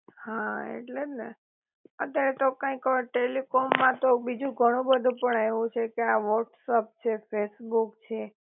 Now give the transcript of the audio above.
હા ઍટલે જ ને, અત્યારે તો કાઈક અ ટેલિકોમ માં તો બીજું ઘણું બધુ પણ આવ્યું છે કે આ વ્હોટસપ છે ફેસબુક છે